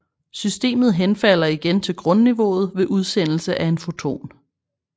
Systemet henfalder igen til grundniveauet ved udsendelse af en foton